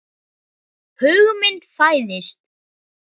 Hugmynd fæðist.